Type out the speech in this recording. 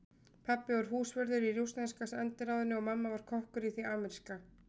Pabbi var húsvörður í rússneska sendiráðinu og mamma var kokkur í því ameríska.